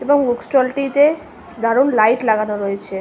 এবং বুক ষ্টলটিতে দারুণ লাইট লাগানো রয়েছে ।